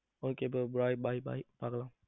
okay bro bye bye bye பார்க்கலாம்.